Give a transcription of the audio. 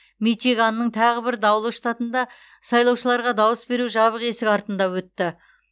мичиганның тағы бір даулы штатында сайлаушыларға дауыс беру жабық есік артында өтті